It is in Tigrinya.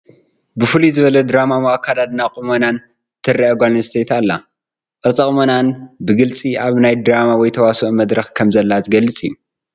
ብፍልይ ዝበለ ድራማዊ ኣከዳድናን ቁመናን ትርአ ጓል ኣነስተይቲ ኣላ፡፡ ቅርፀ ቁመናኣን ብግልፂ ኣብ ናይ ድራማ ወይ ተዋስኦ መድረኽ ከምዘላ ዝገልፅ እዩ፡፡